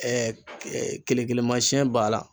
Ɛɛ ee kelekelemasɛn b'a la